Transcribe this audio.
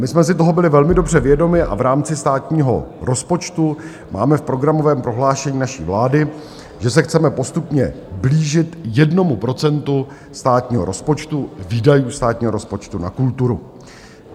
My jsme si toho byli velmi dobře vědomi a v rámci státního rozpočtu máme v programovém prohlášení naší vlády, že se chceme postupně blížit jednomu procentu státního rozpočtu, výdajů státního rozpočtu na kulturu.